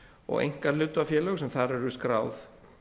og einkahlutafélög sem þar eru skráð